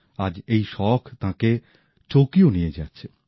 আজ এই শখ তাঁকে টোকিও নিয়ে যাচ্ছে